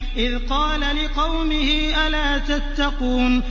إِذْ قَالَ لِقَوْمِهِ أَلَا تَتَّقُونَ